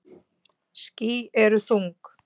Ský eru þung.